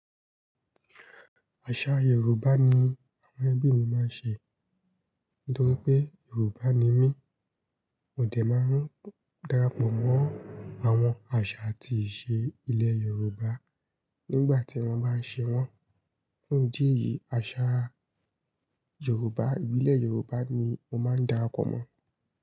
Àṣà Yoruba ni àwọn ẹbí mi máa ń ṣe nítorí pé Yoruba ni mí. Mo de máa ń darapọ̀ mọ́ àwọn àṣà àti ìṣe ilẹ̀ Yoruba nígbà tí wọ́n bá ń ṣe wọ́n. Fún idi eyìí, àṣà Yoruba, ìbílẹ̀ Yoruba ni mo máa ń darapọ̀ mọ́